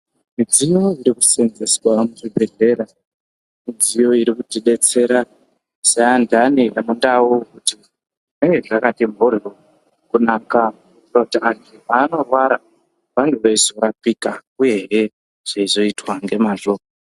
Midziyo inoseenzeswa muzvibhedhlera, midziyo inoti detsera seantani emundau zvigare zvakati mhorwo kunaka kuti antu peanorwara azenge achirapika uyehee zveizotwa nemazvo.